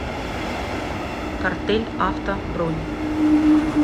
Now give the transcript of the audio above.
картель авто бронь